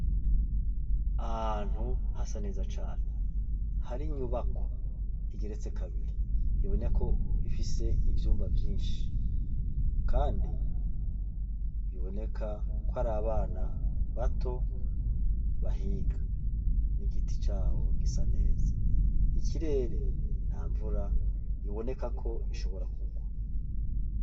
Ahantu hasa neza cane hari inyubako igeretse kabiri aboneko ifise ivyumba vyinshi, kandi biboneka ko ari abana bato bahiga n'igiti cawo gisa neza ikirere nta mvura iboneka ko ishobora kugwa.